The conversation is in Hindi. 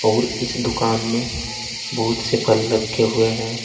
और इस दुकान में बहुत से फल रखे हुए हैं।